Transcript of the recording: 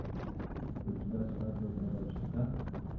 у тебя свадьба гробовщика